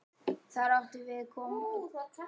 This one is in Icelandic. Þar áttum við okkar stað.